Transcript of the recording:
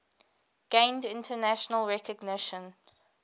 gained international recognition